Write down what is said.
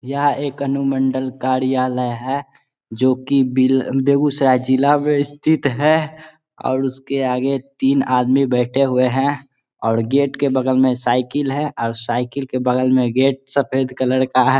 यह एक अनुमंडल कार्यालय है जो की बेगूसराय जिला में स्थित है और उसके आगे तीन आदमी बैठे हुए हैं और गेट के बगल में साइकिल है और साइकिल के बगल में गेट सफेद कलर का है।